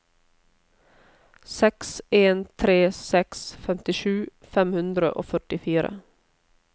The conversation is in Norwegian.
seks en tre seks femtisju fem hundre og førtifire